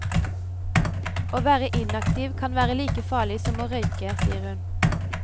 Å være inaktiv kan være like farlig som å røyke, sier hun.